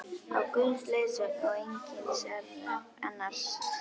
Á Guðs leiðsögn og einskis annars!